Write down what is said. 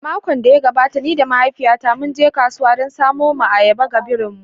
A makon da ya gabata, ni da mahaifiyata mun je kasuwa don samo ayaba ga birin mu